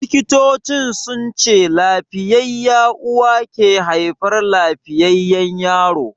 Likitocin sunce lafiyayya uwa ke haifar lafiyayyan yaro.